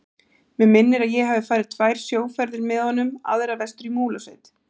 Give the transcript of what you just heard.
Mig minnir að ég hafi farið tvær sjóferðir með honum, aðra vestur í Múlasveit.